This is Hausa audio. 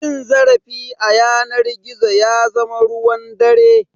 Cin zarafi a yanar gizo ya zama ruwan dare.